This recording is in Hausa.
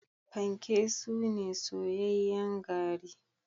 panke suna soyayyen gari